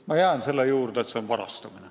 Ma jään selle juurde, et see on varastamine.